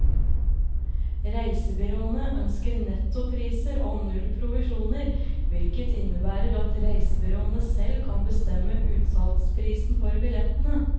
Reisebyråene ønsker nettopriser og null provisjoner, hvilket innebærer at reisebyråene selv kan bestemme utsalgsprisen for billettene.